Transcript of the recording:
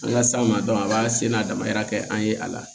An ka s'a ma a b'a sen n'a damayira kɛ an ye a la